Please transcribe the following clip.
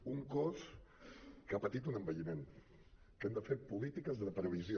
és un cos que ha patit un envelliment que hi hem de fer polítiques de previsió